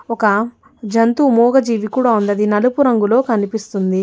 ఒక జంతువు మూగజీవి కూడా ఉన్నది నలుపు రంగులో కనిపిస్తుంది.